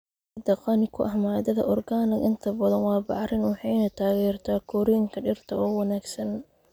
Ciidda qani ku ah maadada organic inta badan waa bacrin waxayna taageertaa korriinka dhirta oo wanaagsan.